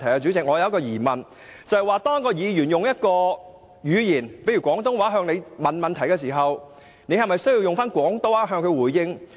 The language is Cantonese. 主席，我有一個疑問，如果一名議員以廣東話向你提問，你是否需要以廣東話回應？